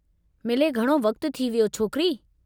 मिले घणो वक़्तु थी वियो, छोकिरी।